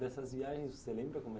Dessas viagens, você lembra como era?